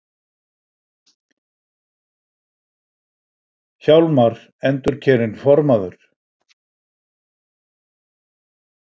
Hjálmar endurkjörinn formaður